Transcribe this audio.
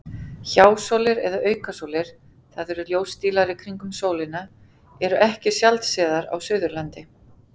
Hjásólir eða aukasólir, það eru ljósdílar í kringum sólina, eru ekki sjaldsénar á Suðurlandi.